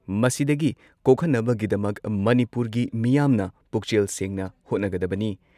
ꯃꯁꯤꯗꯒꯤ ꯀꯣꯛꯍꯟꯅꯕꯒꯤꯗꯃꯛ ꯃꯅꯤꯄꯨꯔꯒꯤ ꯃꯤꯌꯥꯝꯅ ꯄꯨꯛꯆꯦꯜ ꯁꯦꯡꯅ ꯍꯣꯠꯅꯒꯗꯕꯅꯤ ꯫